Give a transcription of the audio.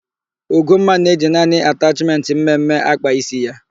Ugomma na-eji naanị atachmentị mme mme akpa ísí ya.